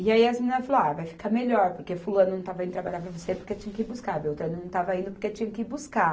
E aí, as meninas falou, ah, vai ficar melhor, porque fulano não estava indo trabalhar para você, porque tinha que ir buscar, beltrano não estava indo porque tinha que ir buscar.